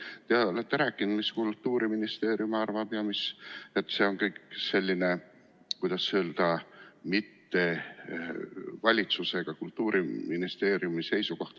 Te olete rääkinud, mis Kultuuriministeerium arvab, ja et see on kõik selline, kuidas öelda, mitte valitsuse ega Kultuuriministeeriumi seisukoht.